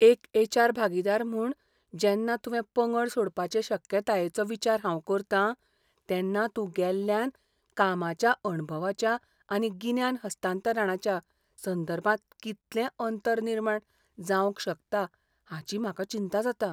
एक H. R. भागीदार म्हूण, जेन्ना तुवें पंगड सोडपाचे शक्यतायेचो विचार हांव करतां, तेन्ना तूं गेल्ल्यान कामाच्या अणभवाच्या आनी गिन्यान हस्तांतरणाच्या संदर्भांत कितलें अंतर निर्माण जावंक शकता हाची म्हाका चिंता जाता.